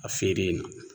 A feere yen nɔ